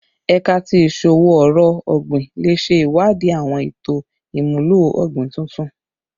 Ẹka ti Iṣowo-ọrọ ogbin le ṣe iwadii awọn eto imulo ogbin tuntun